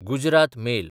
Gujarat mail